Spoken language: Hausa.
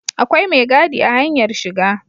Akwai mai gadi a hanyar shiga